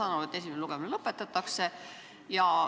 Ma saan aru, et esimene lugemine lõpetatakse.